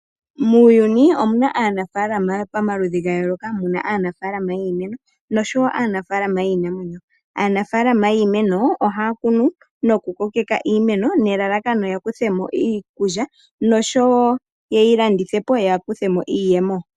Muuyuni anafaalama pamaludhi gayooloka, muna aanafalama yiimeno noshowo aanafaalama yiinamwenyo. Aanafaalama yiimeno ohaa kunu noku kokeka iimeno nelalakano yakuthe mo iikulya noshowo yeyi landithe po yakuthe mo iiyemo.